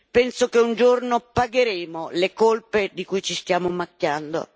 Penso che un giorno pagheremo le colpe di cui ci stiamo macchiando.